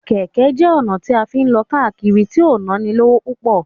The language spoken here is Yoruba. Kẹ́kẹ́ jẹ́ ọ̀nà bí a tí ń lọ káàkiri tí ò nánilówó púpọ̀.